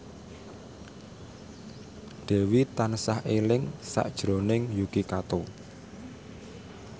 Dewi tansah eling sakjroning Yuki Kato